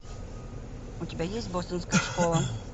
у тебя есть бостонская школа